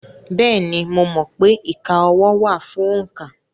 Bẹ́ẹ̀ni, mo mọ̀ pé ìka ọwọ́ wà fún òǹkà.